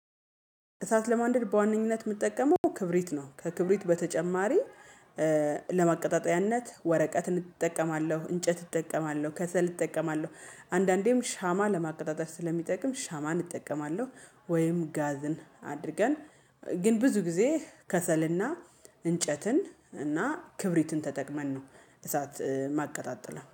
እሳት ለማንደድ በዋነኝነት የምትጠቀመው ክብሪት ነው። ከክብሪት በተጨማሪ ለማቀጣጠያነት ወረቀትን እጠቀማለሁ እንጨት እጠቀማለሁ ከሰል እጠቀማለሁ አንዳንዴም ሻማ ለማቀጣጠል ስለሚጠቅም ሻማን እጠቀማለሁ። ወይም ጋዝን አድርገን ግን ብዙ ጊዜ ከሰልና እንጨትን እና ክብሪትን ተጠቅመን ነው እሳት ማቀጣጥለው